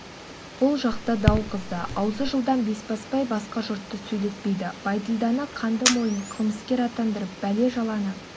бұл жақта дау қызды аузы жылдам бесбасбай басқа жұртты сөйлетпейді бәйділданы қанды мойын қылмыскер атандырып бәле-жаланы